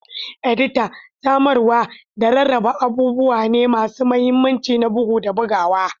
Edita, samarwa, da rarraba abubuwa ne masu mahimmanci na bugu da bugawa.